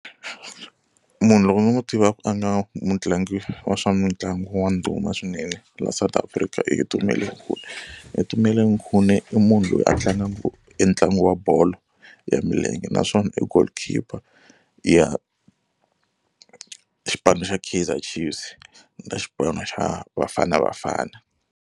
Munhu loko ni n'wi tivaka a nga mutlangi wa swa mitlangu wa ndhuma swinene laha South Africa i Itumeleng Khune. Itumeleng Khune i munhu loyi a tlangaka e ntlangu wa bolo ya milenge naswona i goalkeeper ya xipano xa Kaizer Chiefs na xipano xa Bafana Bafana.